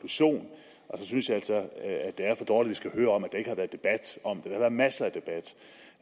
så synes jeg altså det er for dårligt skal høre om at der ikke har været debat om det har været masser af debat